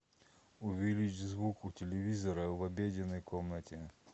увеличь звук у телевизора в обеденной комнате